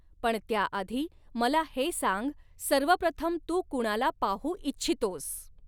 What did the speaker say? पण त्याआधी मला हे सांग सर्वप्रथम तू कुणाला पाहू इच्छितोस?